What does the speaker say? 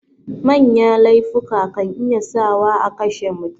Manya laifuka kan iya sa wa akashe mutum